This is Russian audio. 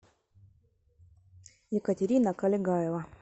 екатерина колегаева